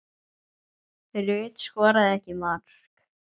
Rut skoraði ekki mark.